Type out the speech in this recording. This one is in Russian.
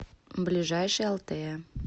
ближайший алтея